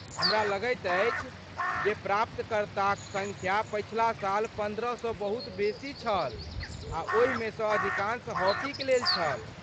हमलगैत अछि जे प्राप्तकर्ताक सङ्ख्या पछिला साल पन्द्रहसँ बहुत बेसी छल आ ओहिमेसँ अधिकांश हॉकीक लेल छल।